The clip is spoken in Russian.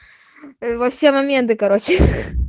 во все моменты короче